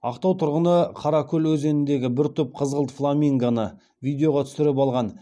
ақтау тұрғыны қаракөл өзеніндегі бір топ қызғылт фламингоны видеоға түсіріп алған